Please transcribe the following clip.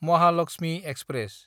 Mahalakshmi express